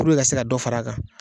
Puruke ka se ka dɔ fara a kan.